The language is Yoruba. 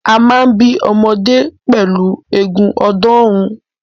A máa ń bí ọmọdé pẹ̀lú eegun ọ̀ọ́dúnrún.